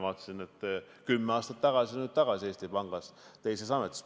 Ma vaatasin, et kümme aastat tagasi olite Eesti Pangas ja nüüd olete tagasi, küll teises ametis.